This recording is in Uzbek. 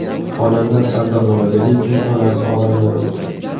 Xonanda Sardor Mamadaliyevning onasi olamdan o‘tdi.